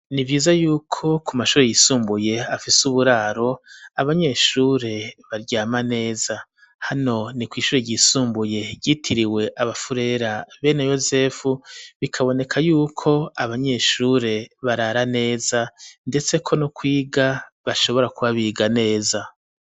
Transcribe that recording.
Nivyiza yuko ku mashure yisumbuye afise uburaro abanyeshure baryama neza hano ni kw'ishure ryisumbuye ryitiriwe abafurera bene yosefu bikaboneka yuko abanyeshure barara neza ndetseko no kwiga bashobora kuba biga neza